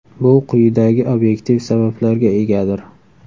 Bu quyidagi obyektiv sabablarga egadir.